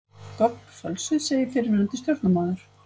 Gögn fölsuð segir fyrrverandi stjórnarmaður